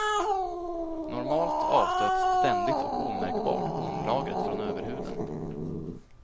Normalt avstöts ständigt och omärkbart hornlagret från överhuden.